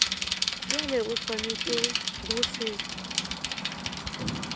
bjalo o swanetše go se